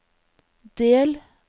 del